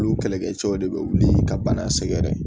Olu kɛlɛkɛcɛw de be wuli ka bana sɛgɛrɛ